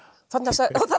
þarna